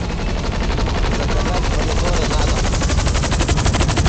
заказать помидоры на дом